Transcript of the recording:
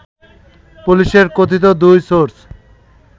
পুলিশের কথিত দুই সোর্স